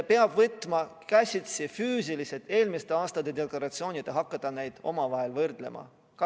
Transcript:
... peab võtma käsitsi füüsilised eelmiste aastate deklaratsioonid ja hakkama neid omavahel võrdlema.